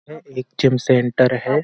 यह एक gym centre है।